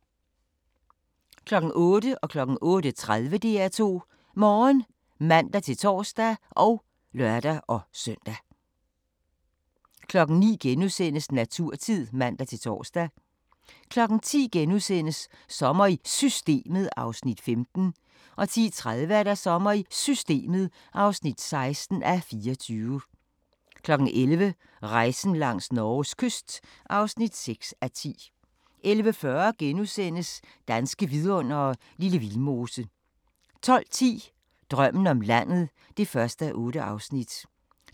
08:00: DR2 Morgen (man-tor og lør-søn) 08:30: DR2 Morgen (man-tor og lør-søn) 09:00: Naturtid *(man-tor) 10:00: Sommer i Systemet (15:24)* 10:30: Sommer i Systemet (16:24) 11:00: Rejsen langs Norges kyst (6:10) 11:40: Danske Vidundere: Lille Vildmose * 12:10: Drømmen om landet (1:8)